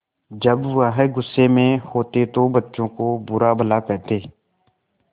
जब वह गुस्से में होते तो बच्चों को बुरा भला कहते